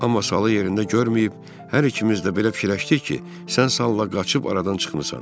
Amma salı yerində görməyib, hər ikimiz də belə fikirləşdik ki, sən salla qaçıb aradan çıxmısan.